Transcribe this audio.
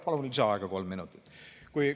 Palun lisaaega kolm minutit!